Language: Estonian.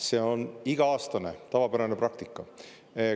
See on iga-aastane tavapärane praktika.